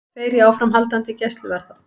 Tveir í áframhaldandi gæsluvarðhald